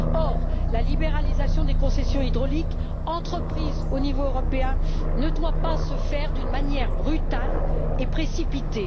Or, la libéralisation des concessions hydrauliques entreprise au niveau européen ne doit pas se faire d'une manière brutale et précipitée.